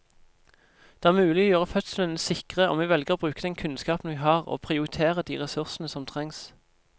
Det er mulig å gjøre fødslene sikre om vi velger å bruke den kunnskapen vi har og prioritere de ressursene som trengs.